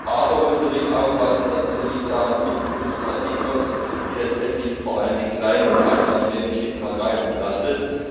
Aber wir müssen natürlich aufpassen, dass es hier nicht zu einer Flut von Bürokratie kommt, die letztendlich vor allem kleine und Kleinstunternehmen schlicht und ergreifend belastet.